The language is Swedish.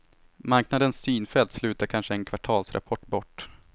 Marknadens synfält slutar kanske en kvartalsrapport bort.